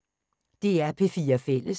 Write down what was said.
DR P4 Fælles